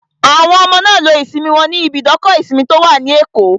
Àwọn ọmọ náà lo ìsinmi wọn níbi ibùdókọ̀ ìsinmi tó wà ní Èkó